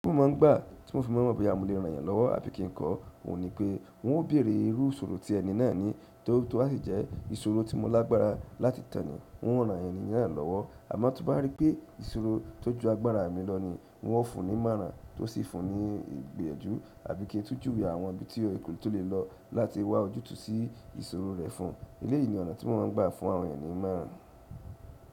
Ó máà ń gbà tí mo fi mọ́ bí a mọ lè ran yẹn lọ́wọ́ àbí kí n kọ́ ọ̀, n ò ní pé n ó bèrè irú ìṣòro tí ẹni náà ní tó bá sì jẹ́ ìṣòro tí mọ lágbára láti tàn nìí, n ó ran ẹni náà lọ́wọ́. A mo ti n bá rí pé ìṣòro tí o jù agbára mi lọ nii, n ó fún ni ìmọ̀ràn n ó sifun ni ìgbìyànjú tàbí kí n tún júwe àwọn ibi tí o lè lò láti wá ojutu sí ìṣòro rẹ̀ fún. Elẹ́yìí ni ọ̀nà tí mọ máa ń gbà fún àwọn ẹyan ni ìmọ̀ràn.